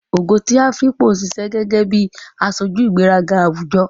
Ogo ti Afikpo ń ṣiṣẹ́ gẹ́gẹ́ bí aṣojú ìgbéraga àwùjọ.